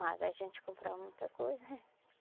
Mas a gente comprava muita coisa.